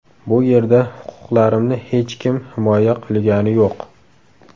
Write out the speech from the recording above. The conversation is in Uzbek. Bu yerda huquqlarimni hech kim himoya qilgani yo‘q.